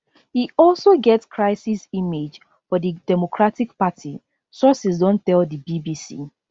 e also get crisis image for di democratic party sources don tell di bbc